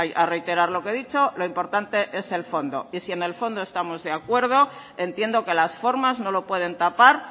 a reiterar lo que he dicho lo importante es el fondo y si en el fondo estamos de acuerdo entiendo que las formas no lo pueden tapar